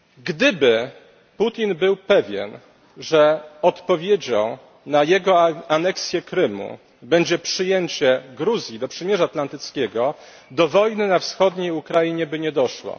Gdyby Putin był pewien, że odpowiedzią na jego aneksję Krymu będzie przyjęcie Gruzji do przymierza atlantyckiego, do wojny na wschodniej Ukrainie by nie doszło.